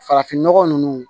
Farafinnɔgɔ ninnu